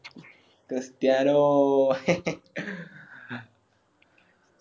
Cristiano